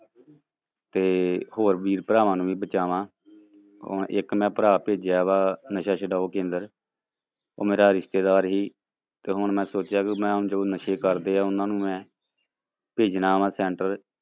ਤੇ ਹੋਰ ਵੀਰ ਭਰਾਵਾਂ ਨੂੰ ਵੀ ਬਚਾਵਾਂ, ਹੁਣ ਇੱਕ ਮੈਂ ਭਰਾ ਭੇਜਿਆ ਵਾ ਨਸ਼ਾ ਛਡਾਊ ਕੇਂਦਰ, ਉਹ ਮੇਰਾ ਰਿਸ਼ਤੇਦਾਰ ਸੀ ਤੇ ਹੁਣ ਮੈਂ ਸੋਚਿਆ ਵੀ ਮੈਂ ਜੋ ਨਸ਼ੇ ਕਰਦੇ ਆ, ਉਹਨਾਂ ਨੂੰ ਮੈਂ ਭੇਜਣਾ ਵਾਂ center